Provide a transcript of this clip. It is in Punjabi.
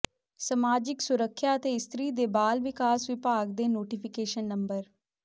ਸਮਾਜਿਕ ਸੁਰੱਖਿਆ ਅਤੇ ਇਸਤਰੀ ਤੇ ਬਾਲ ਵਿਕਾਸ ਵਿਭਾਗ ਦੇ ਨੋਟਿਫਿਕੇਸ਼ਨ ਨੰ